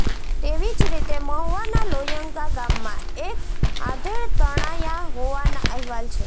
તેવી જ રીતે મહુવાના લોયંગા ગામમાં એક આધેડ તણાયા હોવાના અહેવાલ છે